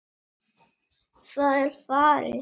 Það er farið!